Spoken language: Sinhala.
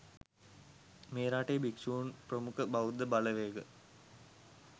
මේ රටේ භික්ෂුන් ප්‍රමුඛ බෞද්ධ බලවේග